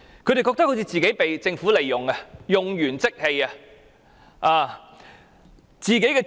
他們感到被政府利用，用完即棄。